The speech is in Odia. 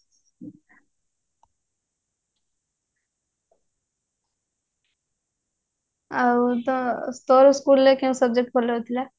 ଆଉ ତୋ ତୋର school ରେ କେଉଁ subject ଭଲ ହଉଥିଲା